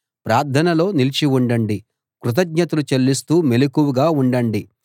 ప్రార్థనలో నిలిచి ఉండండి కృతజ్ఞతలు చెల్లిస్తూ మెలకువగా ఉండండి